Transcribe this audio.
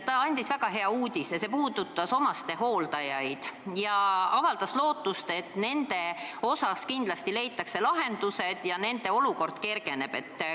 Ta teatas väga hea uudise, mis puudutab omastehooldajaid, ja avaldas lootust, et nende probleemile kindlasti leitakse lahendused ja nende olukord kergeneb.